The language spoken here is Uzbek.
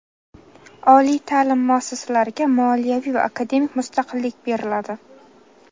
oliy taʼlim muassasalariga moliyaviy va akademik mustaqillik beriladi.